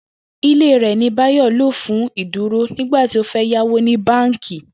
Ilé rè̩ ni Báyò̩ lò fún ìdúrò nígbà tí ó fé̩ yáwó ní báǹkì